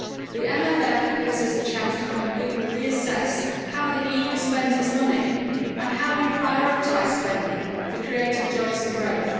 The MFF gives us the chance to completely reassess how the EU spends its money and how we prioritise spending for creating jobs and growth.